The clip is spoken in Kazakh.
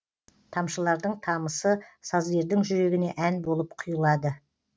тамшылардың тамысы сазгердің жүрегіне ән болып құйылады